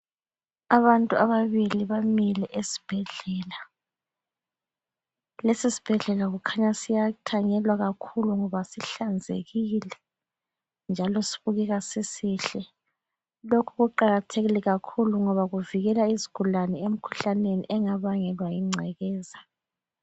Abantu ababili bamile esibhedlela. Lesi sibhedlela kukhanya siyathanyelwa kakhulu ngoba sihlanzekile njalo sibukeka sisihle. Lokhu kuqakathekile kakhulu ngoba kuvikela izigulane emkhuhlaneni engabangelwa yingcekeza.